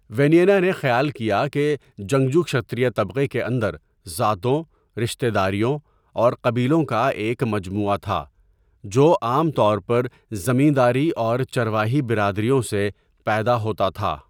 وینینا نے خیال کیا کہ جنگجو کشتریہ طبقے کے اندر ذاتوں، رشتہ داریوں، اور قبیلوں کا ایک مجموعہ تھا جو عام طور پر زمینداری اور چرواہی برادریوں سے پیدا ہوتا تھا۔